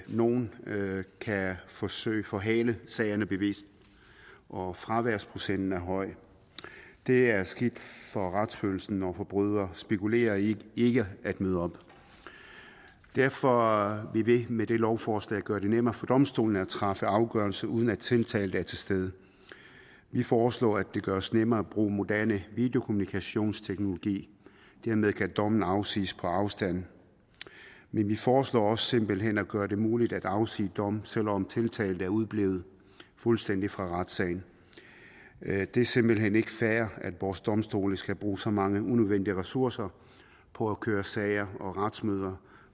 nogle kan forsøge at forhale sagerne bevidst og at fraværsprocenten er høj det er skidt for retsfølelsen når forbrydere spekulerer i ikke at møde op derfor vil vi med dette lovforslag gøre det nemmere for domstolene at træffe afgørelse uden at tiltalte er til stede vi foreslår at det gøres nemmere at bruge moderne videokommunikationsteknologi dermed kan dommen afsiges på afstand men vi foreslår også simpelt hen at gøre det muligt at afsige dom selv om tiltalte er udeblevet fuldstændig fra retssagen det er simpelt hen ikke fair at vores domstole skal bruge så mange unødvendige ressourcer på at køre sager og retsmøder